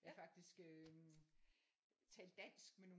Jeg har faktisk øh talt dansk med nogle